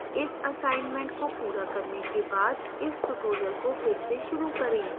इस assignment को पूरा करने के बाद इस tutorial को फिर से शुरू करें